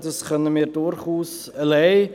Wir können das durchaus alleine.